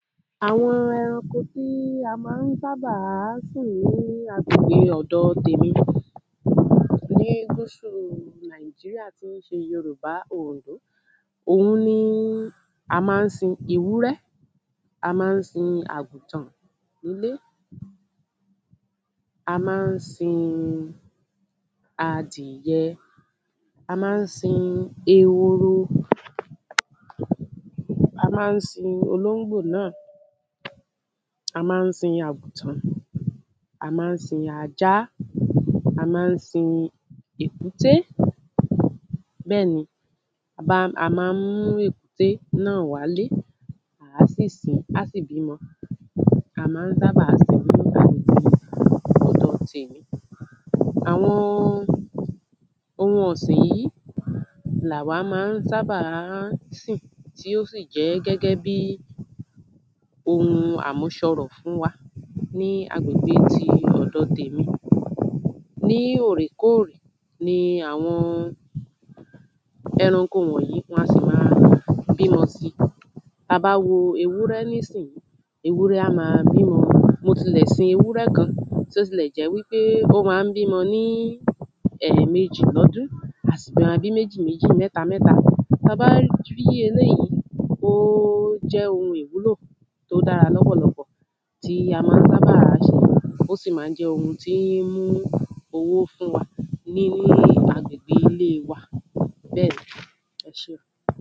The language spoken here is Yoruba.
Àwọn ẹranko tí a ma ń sábàá sìn ní agbègbè ọ̀dọ tèmi ní Nigeria tí se Yorùbá oòyè. Òhun ni a má ń sin ewúrẹ́, a má ń sin àgùtàn nílé A má ń sin adìhẹ. A má ń sin ehoro. A má ń sin olóngbò náà A má ń sin àgùtàn. A má ń sin ajá. A má ń sin èkúté. Bẹ́ ni a má ń mú èkúté náà wálé. À sì sí á sì bímọ. Àwọn ohun ọ̀sìn yí làwá má ń sábà má ń sìn. Tí ó sì jẹ́ gẹ́gẹ́ bí ohun àmúsọrọ̀ fún wa. Ní agbègbe ti ọ̀dọ tèmi. Ní òrèkórè ni àwọn ẹranko wọ̀nyí wọn a sì ma bímọ si. Ta bá wo ewúrẹ́ nísìn, ewúrẹ́ a ma bímọ. Mo tilẹ̀ sin ewúrẹ́ kan ntí ó tilẹ̀ jẹ́ wípé ó má ń bímọ ní ẹ̀mejì lọ́dún. A sì ma bí méjìméjì mẹ́tamẹ́ta. Ta bá rí eléyí, ó jẹ́ ohun ìwúlò. Tó dára lọpọ̀lọpọ̀ tí a má ń sábà se. Ó sì má ń jẹ́ ohun tí ń mú owó fún wa. Ní agbègbe wa, bẹ́ẹ̀ni.